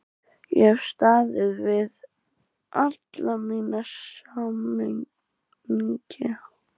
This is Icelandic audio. Ég hef staðið við alla mína samninga.